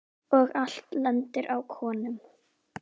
Og allt lendir á konum.